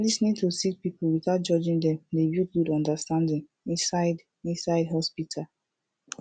lis ten ing to sick pipul witout judging dem dey build good understanding inside inside hosptital